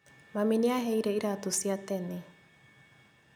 Mami nĩaheire iratũ cia tene